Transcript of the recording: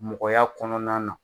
Mɔgɔya kɔnɔna na